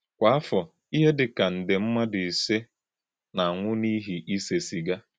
Kwá áfọ, íhè dị ka ndé mmádụ ísè na-anwụ̀ n’íhì ísè sìgà.